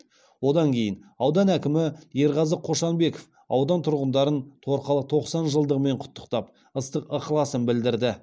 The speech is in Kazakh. одан кейін аудан әкімі ерғазы қошанбеков аудан тұрғындарын торқалы тоқсан жылдығымен құттықтап ыстық ықыласын білдірді